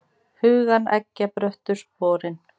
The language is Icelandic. Hugann eggja bröttu sporin.